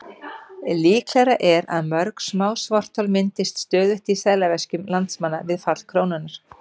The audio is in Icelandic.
Líklegra er að mörg smá svarthol myndist stöðugt í seðlaveskjum landsmanna við fall krónunnar.